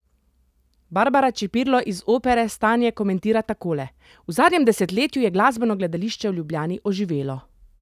Barbara Čepirlo iz Opere stanje komentira takole: "V zadnjem desetletju je glasbeno gledališče v Ljubljani oživelo.